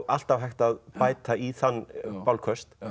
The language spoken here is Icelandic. alltaf hægt að bæta í þann bálköst